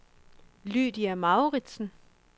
Lydia Mouritsen